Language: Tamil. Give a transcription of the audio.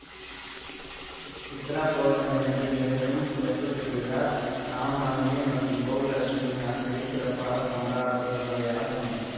சித்ரா பவுர்ணமியன்று நிகழும் தெப்பத்திருவிழா ராமநவமி மற்றும் கோகுலாஷ்டமி ஆகியவை சிறப்பாக கொண்டாடப்படுபவையாகும்